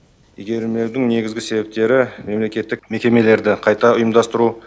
игерілмеудің негізгі себептері мемлекеттік мекемелерді қайта ұйымдастыру